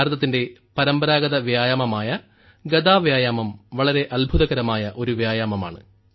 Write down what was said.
ഭാരതത്തിന്റെ പരമ്പരാഗത വ്യായാമമായ ഗദ വ്യായാമം വളരെ അത്ഭുതകരമായ ഒരു വ്യായാമമാണ്